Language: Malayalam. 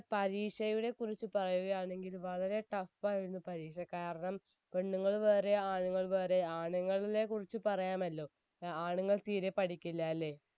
എളുപ്പായിരുന്നു പരീക്ഷ കാരണം പെണ്ണുങ്ങൾ വേറെ ആണുങ്ങൾ വേറെ ആണുങ്ങളിലെ കുറിച്ച് പറയാമല്ലോ ആണുങ്ങൾ തീരെ പഠിക്കില്ല അല്ലെ